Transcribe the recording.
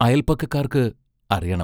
അയൽപക്കക്കാർക്ക് അറിയണം!